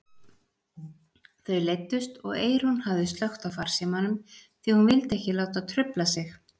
Þau leiddust og Eyrún hafði slökkt á farsímanum því hún vildi ekki láta trufla sig.